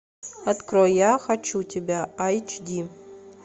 открой я хочу тебя эйч ди